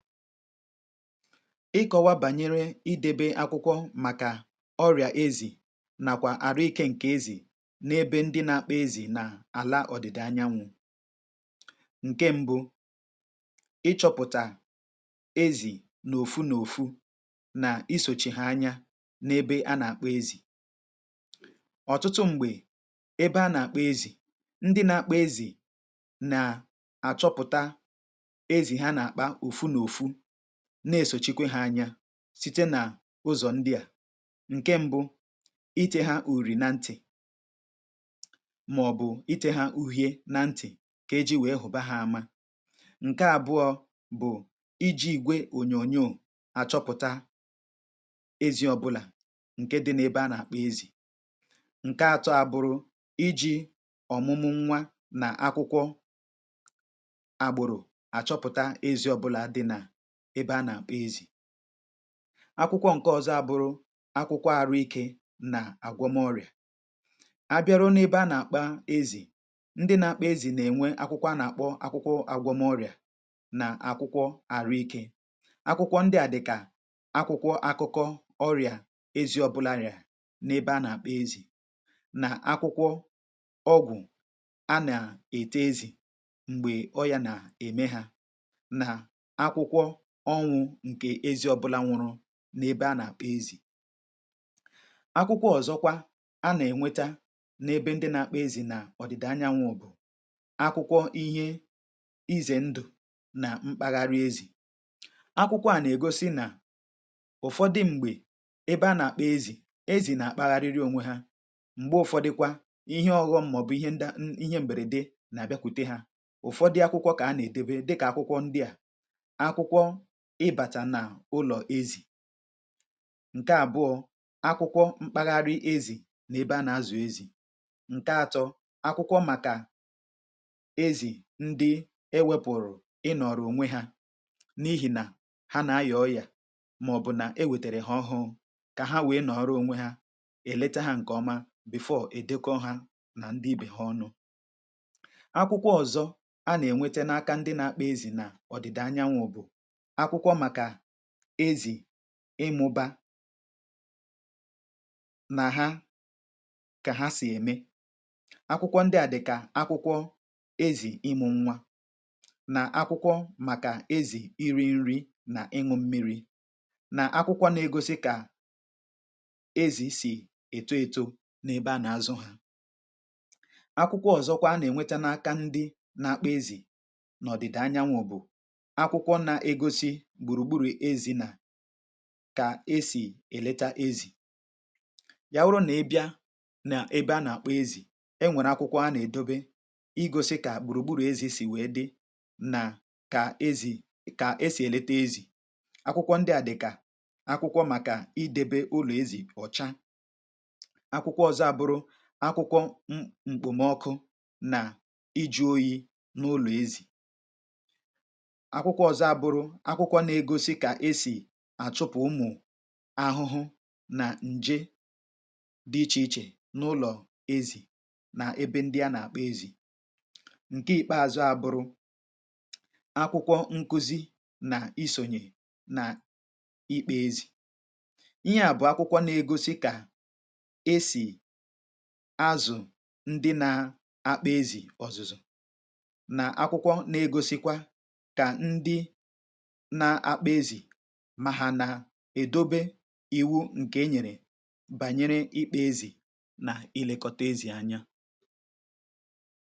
ịkọwa bànyere idebe akwụkwọ màkà ọrịà ezì nàkwà àrụ ikė ǹkè ezì n’ebe ndị nȧ-ȧkpȧ ezì nà àlà ọ̀dị̀dị anyanwụ̇ ǹke mbụ ịchọ̇pụ̀tà ezì n’òfu n’òfu nà i sochì ha anya n’ebe a nà-àkpọ ezì ọ̀tụtụ m̀gbè ebe a nà-àkpọ ezì ndị nȧ-ȧkpọ̇ ezì nà-àchọpụ̀ta na-esòchikwe ha anya site n’ụzọ̀ ndị à ǹke mbụ ite ha ùrì na ntì màọ̀bụ̀ ite ha uhie na ntì ǹke e ji wee hụ̀ba ha ama ǹke àbụọ̇ bụ̀ iji gwe ònyònyo àchọpụ̀ta ezi ọbụlà ǹke dị n’ebe a na-akpọ ezì ǹke atọ abụrụ iji ọ̀mụmụ nwa nà akwụkwọ record um akwụkwọ ǹke ọ̀zọ abụrụ akwụkwọ àrụ ikė nà àgwọmọrị̀à à bịara n’ebe a nà-àkpa ezì ndị n’akpụ ezì nà-ènwe akwụkwọ a nà-àkpọ akwụkwọ àgwọmọrị̀à nà akwụkwọ àrụ ikė akwụkwọ ndị à dị̀kà akwụkwọ akụkọ ọrị̀à ezi ọbụla rìà n’ebe a nà-àkpụ ezì nà akwụkwọ ọgwụ̀ a nà-èta ezì m̀gbè ọ yȧ nà-ème hȧ ọnwụ̇ ǹkè ezi ọbụla nwụrụ n’ebe a nà-àkpọ ezì akwụkwọ ọ̀zọkwa a nà-ènweta n’ebe ndị nà-akpa ezì nà ọ̀dị̀dà anyanwụ̇ bụ̀ akwụkwọ ihe izè ndụ̀ nà mkpagharị ezì akwụkwọ a nà-ègosi nà ụ̀fọdụ m̀gbè ebe a nà-àkpa ezì ezì nà-àkpọgharịrị ònwe ha m̀gbe ụ̀fọdụkwa ihe ọ̇ghọ̇ mmọ̀bụ̀ ihe nda ihe m̀bèrède nà-àbịakwute ha ụ̀fọdụ akwụkwọ kà a nà-èdebe dị kà akwụkwọ ndị à ị bàcha n’ụlọ̀ ezì ǹke àbụọ̇ akwụkwọ mkpagharị ezì n’ebe a nà-azụ̀ ezì ǹke atọ akwụkwọ màkà ezì ndị e wėpùrù ị nọ̀rọ̀ ònwe hȧ n’ihì nà ha nà-ayà oyà màọ̀bụ̀ nà e wètèrè hà ọhụụ kà ha wèe nọ̀rọ onwe hȧ èleche hȧ ǹkè ọma bèfọ èdoko ha nà ndị ibè ha ọnụ akwụkwọ ọ̀zọ a nà-ènweta n’aka ndị na-akpọ ezì nà ọdị̀dà anyanwụ̇ bụ̀ izì ịmụbȧ nà ha kà ha sì ème akwụkwọ ndị à dị̀ kà akwụkwọ ezì ịmụ̇ nwa nà akwụkwọ màkà ezì iri̇ nri nà ịṅụ̇ mmiri̇ nà akwụkwọ n’egȯsi̇ kà ezì sì ètoto n’ebe à nà-azụ hȧ akwụkwọ ọ̀zọkwa a nà-ènweta n’aka ndị n’akpọ ezì nọ̀dị̀dà anyanwụ̇ bụ̀ kà e sì èlete ezì ya wụrụ nà ẹbẹ a nà ẹbẹ a nà-àkpọ ezì ẹ nwẹ̀rẹ̀ akwụkwọ a nà-èdobe i gȯsi̇ kà gbùrùgburù ezi̇ sì wèe dị nà kà ezì kà e sì èlete ezì akwụkwọ ndị à dị̀ kà akwụkwọ màkà i debe ụlọ̀ ezì ọ̀cha akwụkwọ ọ̀zọ a bụ̀rụ akwụkwọ ṁ m̀kpụ̀mọkụ nà iji̇ freezer oyi̇ n’ụlọ̀ ezì àchụpụ̀ ụmụ̀ ahụhụ nà ǹje dị̇ ichè ichè n’ụlọ̀ ezì nà ebe ndị a nà-àkpọ ezì ǹke ikpeazụ abụrụ akwụkwọ nkuzi nà isònyè nà ikpe ezì um ihe à bụ̀ akwụkwọ nà-egosi kà esì azụ̀ ndị nà-akpụ ezì ọ̀zụ̀zụ̀ nà akwụkwọ nà-egosikwa kà ndị èdobė ịwụ ǹkè enyèrè bànyèrè ịkpȧ ezì nà i lėkọ̀tȧ ezì anya